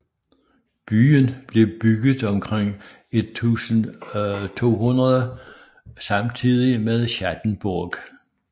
Byen blev bygget omkring 1200 samtidigt med Schattenburg